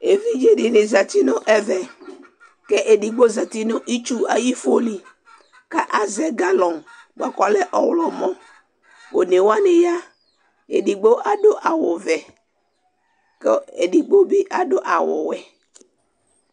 Evidze di ni zeti nu ɛvɛ k'edigbo zati nu itsu ayi fo